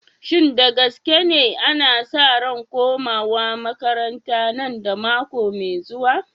Shin da gaske ne, ana sa ran komawa makaranta nan da mako mai zuwa?